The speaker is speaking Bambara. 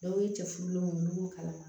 Dɔw ye cɛ furulenw ye ulu b'u kalama